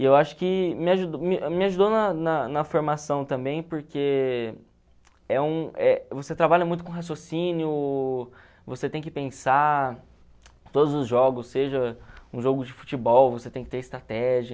E eu acho que na na na formação também, porque é um é você trabalha muito com raciocínio, você tem que pensar, todos os jogos, seja um jogo de futebol, você tem que ter estratégia.